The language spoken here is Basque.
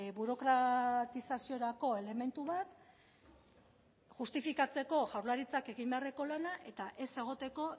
burokratizaziorako elementu bat justifikatzeko jaurlaritzak egin beharreko lana eta ez egoteko